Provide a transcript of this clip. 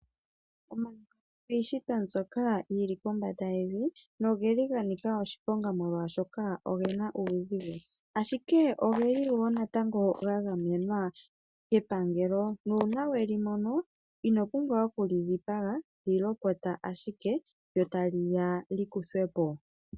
Omayoka iishitwa mbyoka yili kombanda yevi nogeli ga nika oshiponga, molwaashoka ogena uuzigo, ashike ogeli wo natango ga gamenwa kepangelo nuuna weli mono ino pumbwa okuli dhipaga lyi lopotya ashike lyo tali ya lyi kuthwe po.